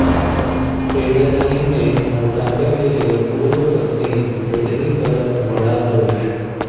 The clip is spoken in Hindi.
फेडरलाइन ने मोटापे के लिए पूर्व पत्नी ब्रिटनी पर मढ़ा दोष